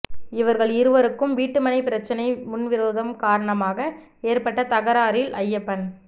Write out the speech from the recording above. இவர்கள் இருவருக்கும் வீட்டுமனை பிரச்னை முன்விரோதம் காரணமாக ஏற்பட்ட தகராறில் ஐயப்பன்